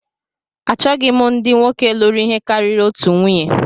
Achọghị m ndị nwoke lụrụ ihe karịrị otu nwunye